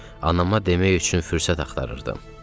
Anama demək üçün fürsət axtarırdım.